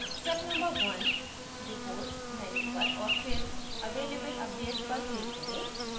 step no 1: reports menu पर और फिर available updates पर क्लिक करें